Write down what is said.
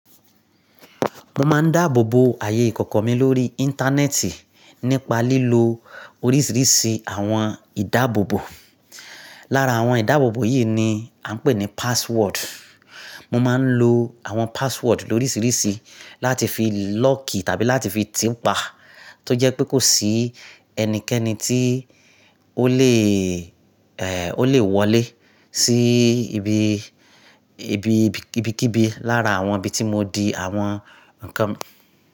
Mo máa ń dáàbòbo ààyè ìkọ̀kọ̀ mi lórí Íńtánẹ́ẹ̀tì nípa lílo oríṣìíríṣìí àwọn ìdáàbòbò. Lára àwọn ìdáàbòbò yìí ni a ń pè ní password. Mo máa ń lo àwọn password lóríṣìíríṣìí láti fi lọ́ọ̀kì tàbí láti fi tìpa tó jẹ́ pé kò sí ẹnikẹ́ni tí ó lè wọlé sí ibi, ibikibi lára àwọn ibi tí mo di àwọn nǹkan mi.